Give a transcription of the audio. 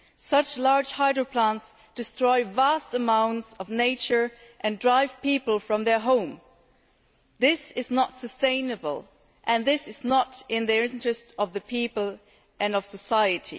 Such large hydroplants destroy vast amounts of nature and drive people from their homes. This is not sustainable and this is not in the interests of the people and of society.